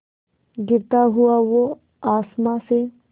गिरता हुआ वो आसमां से